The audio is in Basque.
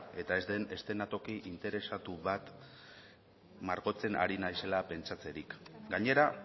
eta ez den eszenatoki interesatu bat margotzen ari naizela pentsatzerik gainera